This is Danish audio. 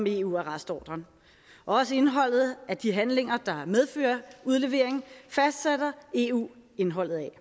eu arrestordren også indholdet af de handlinger der medfører udlevering fastsætter eu indholdet af